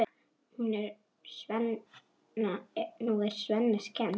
Nú er Svenna skemmt.